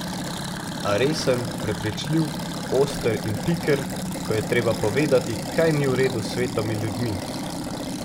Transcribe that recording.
A resen, prepričljiv, oster in piker, ko je treba povedati, kaj ni v redu s svetom in ljudmi.